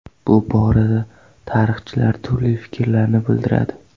Bu borada tarixchilar turli fikrlarni bildiradi.